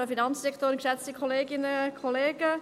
Ich nehme es vorweg: